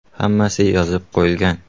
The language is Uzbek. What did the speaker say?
Hammasi yozib qo‘yilgan.